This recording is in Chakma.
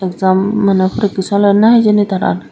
exam mane poreke soler na hijeni tarar.